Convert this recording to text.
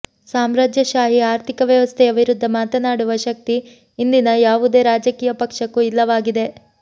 ಸಾಮ್ರಾಜ್ಯಶಾಹಿ ಆರ್ಥಿಕ ವ್ಯವಸ್ಥೆಯ ವಿರುದ್ಧ ಮಾತನಾಡುವ ಶಕ್ತಿ ಇಂದಿನ ಯಾವುದೇ ರಾಜಕೀಯ ಪಕ್ಷಕ್ಕೂ ಇಲ್ಲವಾಗಿದೆ